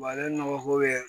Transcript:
ale nɔgɔ ko bɛ